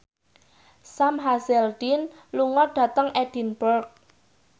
Sam Hazeldine lunga dhateng Edinburgh